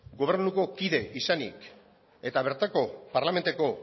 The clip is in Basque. gobernuko kide izanik eta bertako parlamentuko